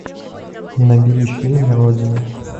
набери фильм родина